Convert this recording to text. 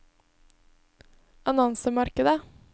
annonsemarkedet